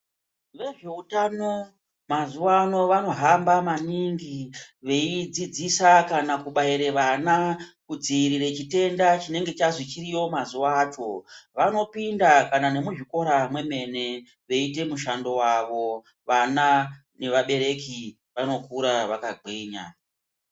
Vezve utano, mazuwa ano vano hamba maningi veidzidzisa kana kubaire vana, kudziirire chitenda chinenge chazwi chiriyo mazuwa acho. Vano pinda kana nemuzvikora mwemene, veyi ite mushando wawo. Vana kana neva bereki vano kura vaka gwinya.